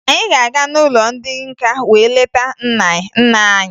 Anyị ga-aga n'ụlọ ndị nka wee leta nna anyị